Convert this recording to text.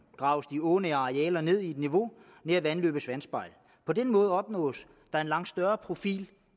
graves de ånære arealer ned i et niveau nær vandløbets vandspejl på den måde opnås der en langt større profil